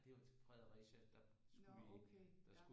Det var til Fredericia der skulle vi der skulle vi